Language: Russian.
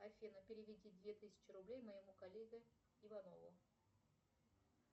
афина переведи две тысячи рублей моему коллеге иванову